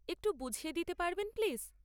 একটু বুঝিয়ে দিতে পারবেন প্লিজ?